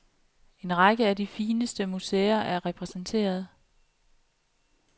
En række af de fineste museer er repræsenteret.